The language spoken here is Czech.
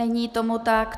Není tomu tak.